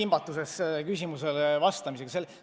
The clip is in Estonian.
Ma olen sellele küsimusele vastamisega kimbatuses.